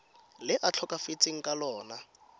le a tlhokafetseng ka lona